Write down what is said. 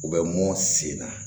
U bɛ mɔn sen na